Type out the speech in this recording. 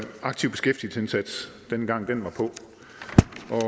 aktiv beskæftigelsesindsats dengang det var på